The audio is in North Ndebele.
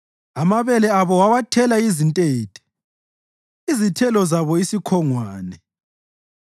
Amabele abo wawathela izintethe, izithelo zabo isikhongwane.